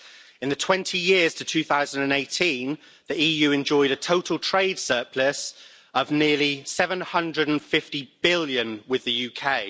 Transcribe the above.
In the 20 years to 2018, the EU enjoyed a total trade surplus of nearly 750 billion with the UK.